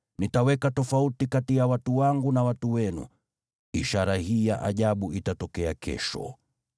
Nitaweka tofauti kati ya watu wangu na watu wenu. Ishara hii ya ajabu itatokea kesho.’ ”